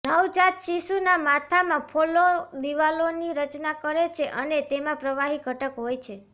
નવજાત શિશુના માથામાં ફોલ્લો દિવાલોની રચના કરે છે અને તેમાં પ્રવાહી ઘટક હોય છે